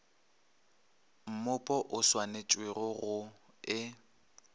mmupo o swanetpego go e